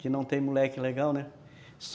Que não tem moleque legal, né?